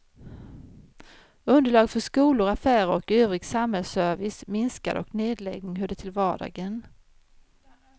Underlag för skolor, affärer och övrig samhällsservice minskade och nedläggning hörde till vardagen.